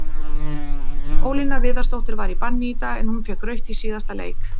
Ólína Viðarsdóttir var í banni í dag, en hún fékk rautt í síðasta leik.